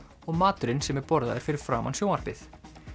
og maturinn sem borðaður er fyrir framan sjónvarpið